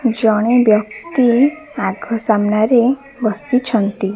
ଜଣେ ବ୍ୟକ୍ତି ଆଗ ସାମ୍ନାରେ ବସିଛନ୍ତି।